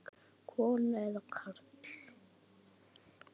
Kona eða karl?